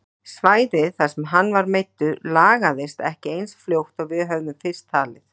Svæðið þar sem hann var meiddur lagaðist ekki eins fljótt og við höfðum fyrst talið.